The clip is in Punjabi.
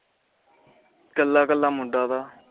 ਕਲਾ ਕਲਾ ਮੁੰਡਾ ਤਾ